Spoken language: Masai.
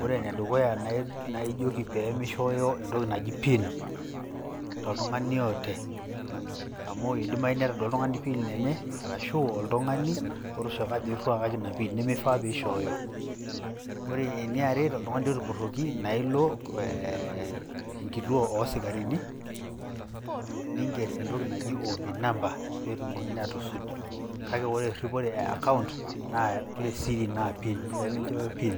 Ore ene dukuya naa ijoki pee mishooyo entoki naji pin toltung`ani yeyote. Amu eidimayu netodua oltung`ani pin enye. Arashu oltung`ani otooshoko ajo nchooki ina pin nemeifaa pee ishooyo. Ore eniare totung`ani otupurroki naa ilo enkituo oo sikarini ning`er entoki naji O.B number pee etumokini aatusuj. Kake ore erripore e account naa ore siri naa pin, pee minchooyo pin.